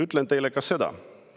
Ütlen teile ka seda.